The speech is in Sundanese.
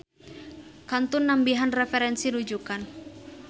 Kantun nambihan referensi rujukan.